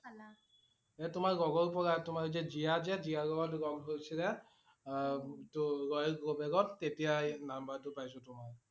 এ তোমাৰ লগৰ পৰা, তোমাৰ যে জীয়া যে আহ তেতিয়া এই number টো পাইছোঁ তোমাৰ